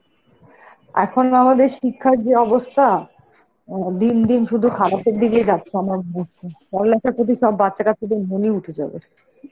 এখন যে আমাদের শিক্ষার যে অবস্থা, উম দিন দিন শুধু খারাপের দিকেই যাচ্ছে আমরা সব বাচ্চা বাচ্চাদের মুলি উঠেছে ওদের.